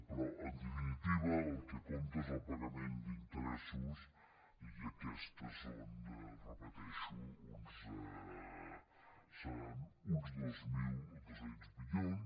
però en definitiva el que compta és el pagament d’interessos i aquests seran ho repeteixo uns dos mil dos cents milions